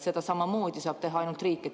Seda saab teha ainult riik.